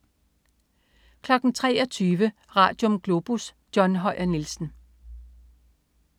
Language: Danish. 23.00 Radium. Globus. John Høyer Nielsen